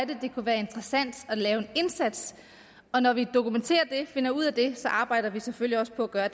det kunne være interessant at lave indsats og når vi kan dokumentere det finder ud af det så arbejder vi selvfølgelig også på at gøre